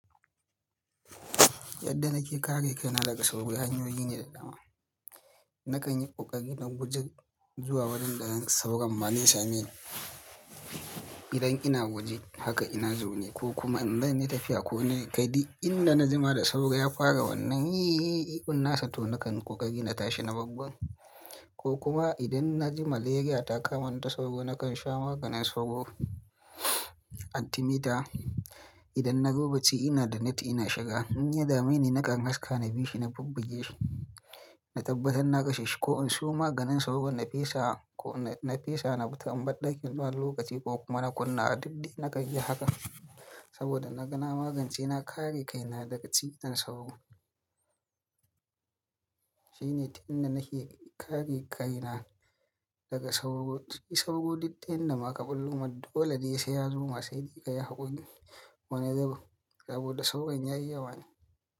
Yadda nake kare kaina daga sauro, gari hanyoyi ne da dama. Nakan yi ƙoƙari na guje zuwa wurin da zan sauro, ma zai same ni. Idan ina waje haka ina zaune ko kuma in zan yi tafiya ko ni, kai duk inda naji ma da sauro ya fara wannan yi yi ihun nasa to nakan ƙoƙari na tashi na babban ko kuma idan na ji malaria ta kama ni ta sauro nakan sha maganin sauro, antemita. Idan nazo bacci ina da net ina shiga. In ya dame ni nakan haska na bi shi na bubbuge shi, na tabbatar na kashe shi ko in siyo maganin sauro na fesa ko na fesa na fitta in bar ɗakin zuwa lokaci ko kuma na kunnawa dik dai nakanyi haka. Saboda na ga na magance na kare kaina daga cutar sauro. Shine ta inda nake kare kaina daga sauro. Shi sauro dik ta inda ma ka bullo mar dolene se yazo ma saide ka yi hakuri wani zubin, saboda sauron yayi yawa ne.